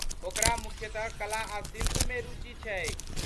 ओकरा मुख्यतः कला आ शिल्पमे रुचि छैक ।